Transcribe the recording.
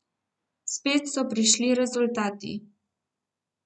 Spet so prišli rezultati.